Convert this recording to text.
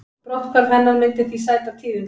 Brotthvarf hennar myndi því sæta tíðindum